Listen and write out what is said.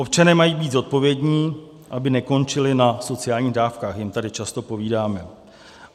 Občané mají být zodpovědní, aby nekončili na sociálních dávkách, jim tady často povídáme.